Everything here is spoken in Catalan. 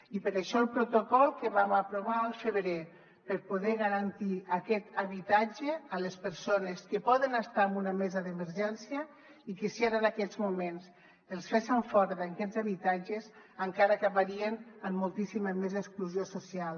i per això el protocol que vam aprovar al febrer per poder garantir aquest habitatge a les persones que poden estar en una mesa d’emergència i que si ara en aquests moments els fessen fora d’aquests habitatges encara acabarien amb moltíssima més exclusió social